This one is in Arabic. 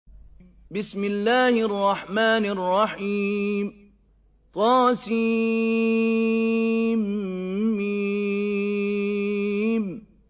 طسم